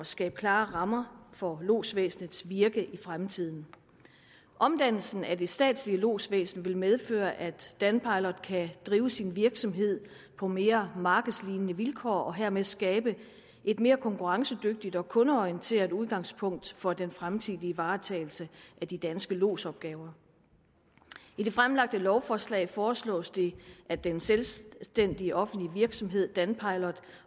skabe klare rammer for lodsvæsenets virke i fremtiden omdannelsen af det statslige lodsvæsen vil medføre at danpilot kan drive sin virksomhed på mere markedslignende vilkår og hermed skabe et mere konkurrencedygtigt og kundeorienteret udgangspunkt for den fremtidige varetagelse af de danske lodsopgaver i det fremsatte lovforslag foreslås det at den selvstændige offentlige virksomhed danpilot